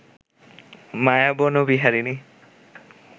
মায়াবন বিহারিণী